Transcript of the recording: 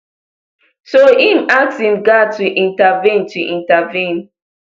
so im ask im guard to intervene to intervene